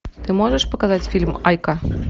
ты можешь показать фильм айка